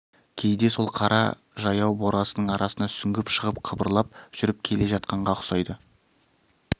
кейде сол қара жаяу борасынның арасына сүңгіп шығып қыбырлап жүріп келе жатқанға ұқсайды